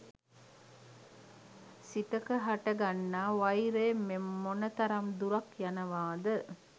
සිතක හටගන්නා වෛරය මොනතරම් දුරක් යනවද!